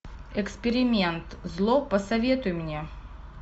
эксперимент зло посоветуй мне